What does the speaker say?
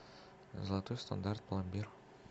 золотой стандарт пломбир